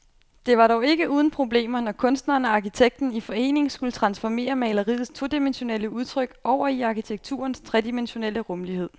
Det var dog ikke uden problemer, når kunstneren og arkitekten i forening skulle transformere maleriets todimensionelle udtryk over i arkitekturens tredimensionelle rumlighed.